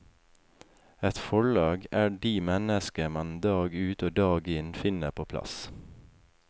Et forlag er de mennesker man dag ut og dag inn finner på plass.